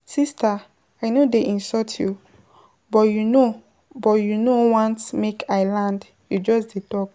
Sister I no dey insult you, but you no but you no want make I land you just dey talk.